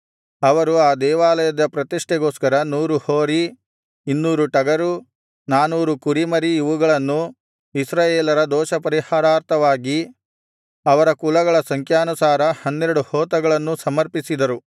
ಅವರು ಆ ದೇವಾಲಯದ ಪ್ರತಿಷ್ಠೆಗೋಸ್ಕರ ನೂರು ಹೋರಿ ಇನ್ನೂರು ಟಗರು ನಾನೂರು ಕುರಿಮರಿ ಇವುಗಳನ್ನೂ ಇಸ್ರಾಯೇಲರ ದೋಷಪರಿಹಾರಾರ್ಥವಾಗಿ ಅವರ ಕುಲಗಳ ಸಂಖ್ಯಾನುಸಾರ ಹನ್ನೆರಡು ಹೋತಗಳನ್ನೂ ಸಮರ್ಪಿಸಿದರು